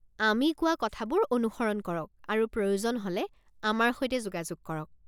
আমি কোৱা কথাবোৰ অনুসৰণ কৰক আৰু প্ৰয়োজন হ'লে আমাৰ সৈতে যোগাযোগ কৰক।